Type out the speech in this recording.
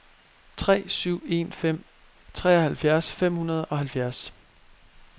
tre syv en fem treoghalvfjerds fem hundrede og halvfjerds